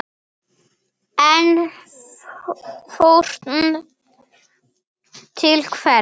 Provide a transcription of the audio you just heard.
En fórn til hvers?